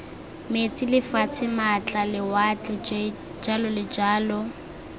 metsi lefatshe maatla lewatle jj